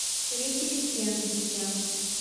ресистенсия